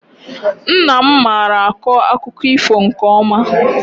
Nna m mara akọ akụkọ ifo nke ọma.